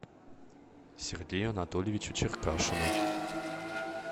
сергею анатольевичу черкашину